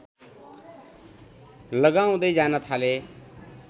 लगाउँदै जान थाले